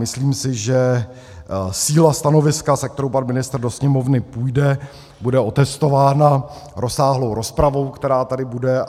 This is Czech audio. Myslím si, že síla stanoviska, se kterou pan ministr do Sněmovny půjde, bude otestována rozsáhlou rozpravou, která tady bude.